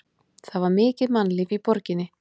Það var mikið mannlíf í borginni.